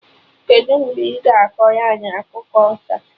Kedụ mgbe ị ga akọrọ anyị akụkọ ọsa?